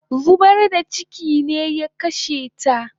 Zubar da chiki ne ya kashe ta